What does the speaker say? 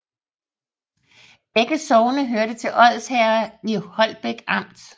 Begge sogne hørte til Odsherred i Holbæk Amt